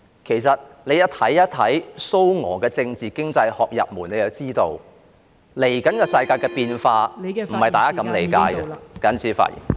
其實他們看蘇俄的政治經濟學入門便知道，世界未來的變化，並非如大家所理解般......